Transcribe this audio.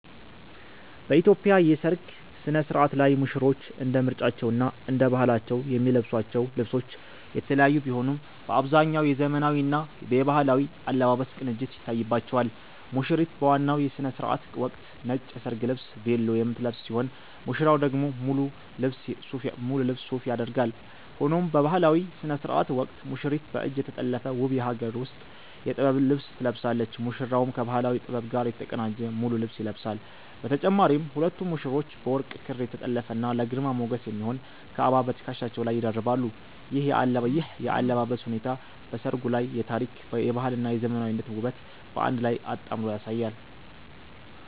በኢትዮጵያ የሠርግ ሥነ-ሥርዓት ላይ ሙሽሮች እንደ ምርጫቸውና እንደ ባህላቸው የሚለብሷቸው ልብሶች የተለያዩ ቢሆኑም፣ በአብዛኛው የዘመናዊና የባህላዊ አለባበስ ቅንጅት ይታይባቸዋል። ሙሽሪት በዋናው የሥነ-ሥርዓት ወቅት ነጭ የሰርግ ልብስ 'ቬሎ' የምትለብስ ሲሆን፣ ሙሽራው ደግሞ ሙሉ ልብስ 'ሱፍ' ያደርጋል። ሆኖም በባህላዊው ሥነ-ሥርዓት ወቅት ሙሽሪት በእጅ የተጠለፈ ውብ የሀገር ውስጥ የጥበብ ልብስ ትለብሳለች፤ ሙሽራውም ከባህላዊ ጥበብ ጋር የተቀናጀ ሙሉ ልብስ ይለብሳል። በተጨማሪም ሁለቱም ሙሽሮች በወርቅ ክር የተጠለፈና ለግርማ ሞገስ የሚሆን "ካባ" በትከሻቸው ላይ ይደርባሉ። ይህ የአለባበስ ሁኔታ በሠርጉ ላይ የታሪክ፣ የባህልና የዘመናዊነት ውበትን በአንድ ላይ አጣምሮ ያሳያል።